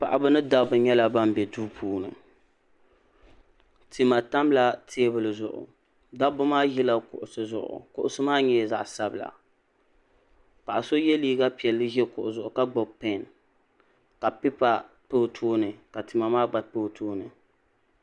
Paɣiba ni dabba nyɛla ban be duu puuni tima tamla teebuli zuɣu dabba maa ʒila kuɣusi zuɣu kuɣusi maa nyɛla zaɣ'sabila paɣa so ye liiga piɛlli ʒi kuɣu zuɣu ka gbubi peen ka pipa pa o tooni ka tima maa gba pa o tooni.